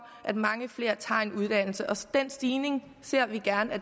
at mange flere tager en uddannelse så den stigning ser vi gerne